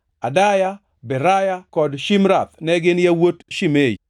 Adaya, Beraya kod Shimrath ne gin yawuot Shimei.